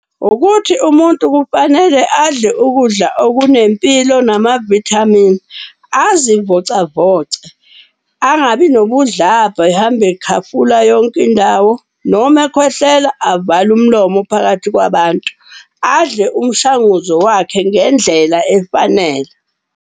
Ukuthi umuntu kufanele adle ukudla okunempilo namavithamini, azivocavoce. Angabi nobudlabha ehambe ekhafula yonke indawo noma ekhwehlela avale umlomo phakathi kwabantu. Adle umshanguzo wakhe ngendlela efanele.